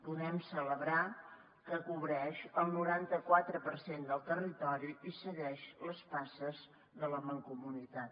podem celebrar que cobreix el noranta quatre per cent del territori i segueix les passes de la mancomunitat